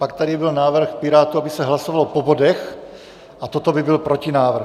Pak tady byl návrh Pirátů, aby se hlasovalo po bodech, a toto by byl protinávrh.